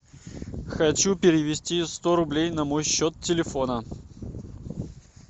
хочу перевести сто рублей на мой счет телефона